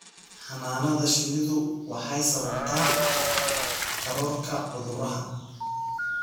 Xannaanada shinnidu waxay sababtaa kororka cudurada.